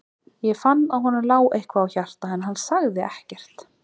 Ég fann að honum lá eitthvað á hjarta, en hann sagði ekkert.